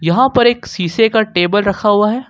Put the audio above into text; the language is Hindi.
यहां पर एक शीशे का टेबल रखा हुआ है।